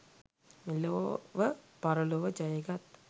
මෙලොව පරලොව ජයගත්